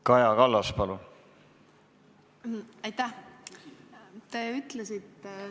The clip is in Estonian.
Kaja Kallas, palun!